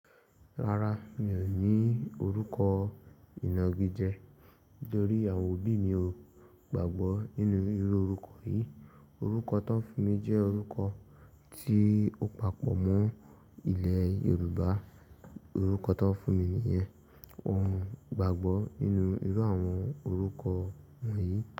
Rárá, mi ò ní orúkọ ìnagíje. Nítorí awón òbí mi ò gbàgbọ́ nínú irú orúkọ yìí. Orúkọ tó ń fún mi jẹ́ orúkọ tí ó papọ̀ mọ́ ilẹ̀ Yorùbá. Orúkọ tó ń fún mi nìyẹn. Won o gbàgbọ́ nínú irú àwọn orúkọ wọ̀nyí.